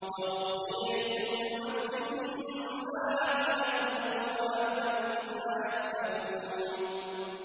وَوُفِّيَتْ كُلُّ نَفْسٍ مَّا عَمِلَتْ وَهُوَ أَعْلَمُ بِمَا يَفْعَلُونَ